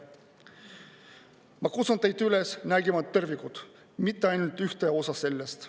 Ma kutsun teid üles nägema tervikut, mitte ainult ühte osa sellest.